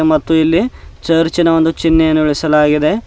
ಮತ್ತು ಇಲ್ಲಿ ಚುರ್ಚಿನ ಒಂದು ಚಿನ್ಹೆಯನ್ನು ಇಳಿಸಲಾಗಿದೆ.